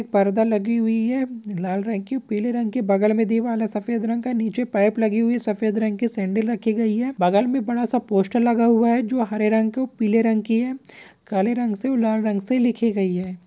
पर्दा लगी हुई है। लाल रंग की पीले रंग के बगल में दीवाल है। सफेद रंग का नीचे पाइप लगी हुई है सफेद रंग की सैंडल रखी गई हैं| बगल में बड़ा सा पोस्टर लगा हुआ है। जो हरे रंग को पीले रंग की है काले रंग से और लाल रंग से लिखी गई है।